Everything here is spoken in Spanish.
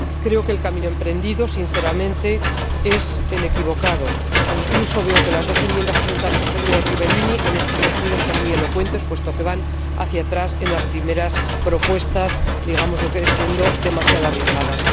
Creo que el camino emprendido, sinceramente, es el equivocado, e incluso veo que las dos enmiendas presentadas por el señor Rivellini, en este sentido, son muy elocuentes, puesto que van hacia atrás respecto de las primeras propuestas que, digamos, entiendo demasiado arriesgadas.